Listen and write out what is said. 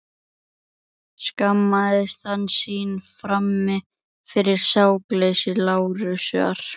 Skammaðist hann sín frammi fyrir sakleysi Lárusar?